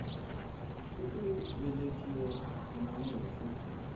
wa ku velekiwa na mafu